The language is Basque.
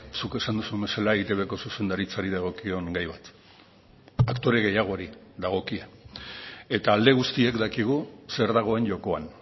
zuk esan duzun bezala eitbko zuzendaritzari dagokion gai bat aktore gehiagori dagokie eta alde guztiek dakigu zer dagoen jokoan